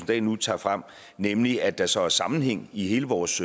dahl nu tager frem nemlig at der så er sammenhæng i alle vores